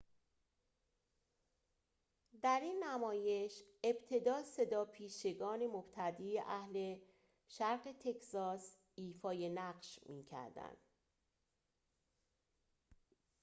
در این نمایش ابتدا صداپیشگان مبتدی اهل شرق تگزاس ایفای نقش می‌کردند